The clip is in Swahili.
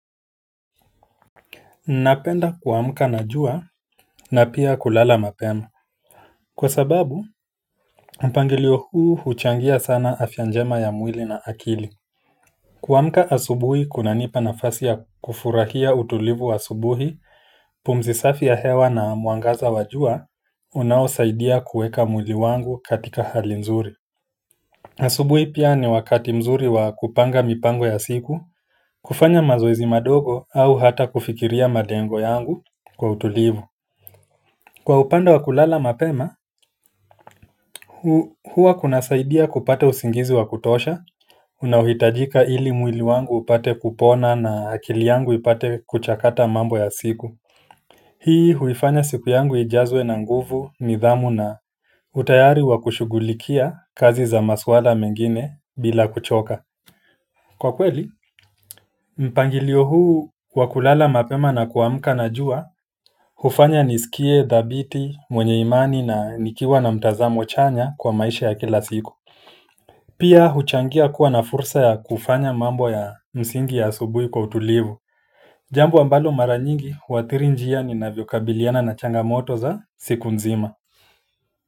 Napenda kuamka na jua na pia kulala mapema. Kwa sababu mpangilio huu, huchangia sana afya njema ya mwili na akili kuamka asubuhi kunanipa nafasi ya kufurahia utulivu wa asubuhi, pumzi safi ya hewa na mwangaza wa jua, unaosaidia kuweka mwili wangu katika hali nzuri asubuhi pia ni wakati mzuri wa kupanga mipango ya siku, kufanya mazoezi madogo, au hata kufikiria malengo yangu kwa utulivu. Kwa upande wakulala mapema, huwa kunasaidia kupata usingizi wa kutosha, unaohitajika ili mwili wangu upate kupona na akili yangu ipate kuchakata mambo ya siku. Hii huifanya siku yangu ijazwe na nguvu, nidhamu na utayari wakushugulikia, kazi za maswala mengine bila kuchoka. Kwa kweli, mpangilio huu wa kulala mapema na kuamka na jua, hufanya nisikie, dhabiti, mwenye imani na nikiwa na mtazamo chanya, kwa maisha ya kila siku. Pia, huchangia kuwa na fursa ya kufanya mambo ya msingi ya asubuhi kwa utulivu. Jambo ambalo mara nyingi, huathiri njia ninavyokabiliana na changamoto za siku nzima.